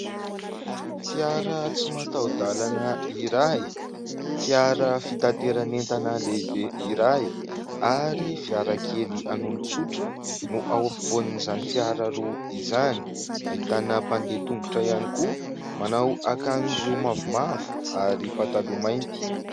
Fiara tsy mataho-dalana iray, fiara fitaterana entana lehibe iray ary fiara kely an'olon-tsotra no ao ampovoanin'izany fiara roa izany. Ahitana mpandeha tongotra ihany koa, manao akanjo mavomavo ary pataloha mainty.